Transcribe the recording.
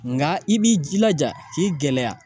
Nka i b'i jilaja k'i gɛlɛya